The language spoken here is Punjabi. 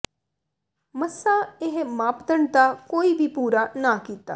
ਮੱਸਾ ਇਹ ਮਾਪਦੰਡ ਦਾ ਕੋਈ ਵੀ ਪੂਰਾ ਨਾ ਕੀਤਾ